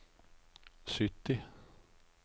sytti